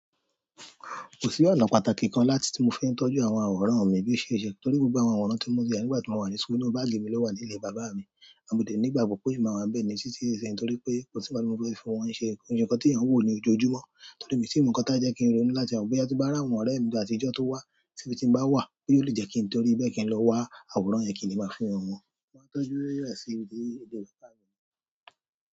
Kò sí ọ̀nà pàtàkì kan láti, tí mo fi ń tọ́jú àwọn àwòrán mi bí mo ṣẹ n ṣẹ torí gbogbo àwọn àwòrán tí mo ti e ní nígbà tí mo wà ní school inú báàgì mi ló wà ní ilé bàbá mi. Mo dẹ́ ní ìgbàgbọ́ pé ò máa wà níbẹ̀ ní títí di isín torí pé kòsí nkan tí mo fe fi wọn ṣe. Kò yi se ǹkan tí èèyàn ń wò ní ojoojúmọ́ torí mi tì mo ǹkan tí a jẹ́ kí n rónú láti lowo boya tí n bá ri àwọn ọ̀rẹ́ mi átijọ́ tó wá si bi ti n bá wà boya o lè jẹ́ kí n torí bẹ́ẹ̀ kí n lọ wá àwòrán yẹn kí le máa fi hàn wọ́n. Mo máa tọ́jú rẹ̀ sí ibi ilé bàbá mi.